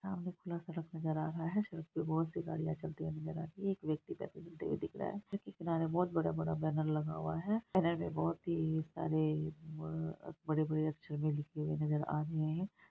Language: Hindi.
सामने खुला सड़क नजर आ रहा है सड़क पे बहुत सी गाडियाँ चलती नजर आ रही है एक व्यक्ति चलते हुए दिख रहा है सड़क के किनारे बहुत बड़ा-बड़ा बैनर लगा हुआ है बैनर में बहुत ही सारे-ए ब--बड़े बड़े अक्षर में लिखे हुए नजर आ रहे है।